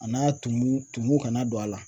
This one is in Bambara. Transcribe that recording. A n'a tumu tumu kana don a la.